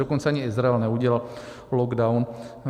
Dokonce ani Izrael neudělal lockdown.